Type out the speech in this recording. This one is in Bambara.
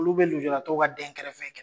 Olu bɛ nujuratɔw ka denkɛrɛfɛ